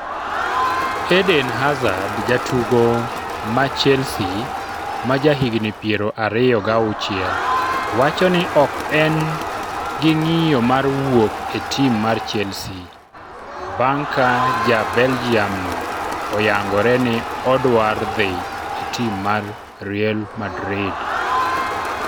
Eden Hazard Jatugo ma Chelsea, ma jahigni piero ariyo gauchiel, wacho ni ok en gi ng'iyo mar wuok e tim mar Chelsea, bang' ka ja Belgium no oyangore ni odwar dhi e tim mar Real Madrid.